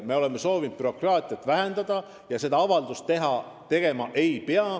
Meie soovime bürokraatiat vähendada ja enam seda avaldust tegema ei pea.